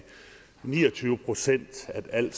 ni og tyve procent af al